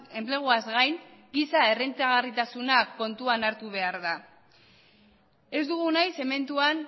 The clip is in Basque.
enpleguaz gain giza errentagarritasuna kontuan hartu behar da ez dugu nahi zementuan